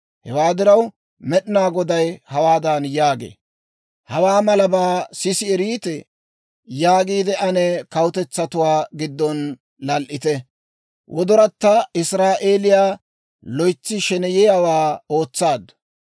Hewaa diraw, Med'inaa Goday hawaadan yaagee; «Hawaa malabaa sisi eriitee? yaagiide ane kawutetsatuwaa giddon lal"ite. Wodoratta Israa'eeliyaa loytsi sheneyiyaawaa ootsaaddu.